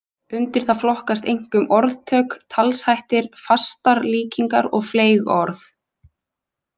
Undir það flokkast einkum orðtök, talshættir, fastar líkingar og fleyg orð.